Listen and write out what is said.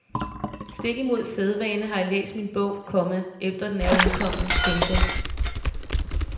Stik imod sædvane har jeg læst min bog, komma efter den er udkommet. punktum